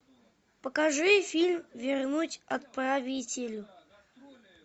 покажи фильм вернуть отправителю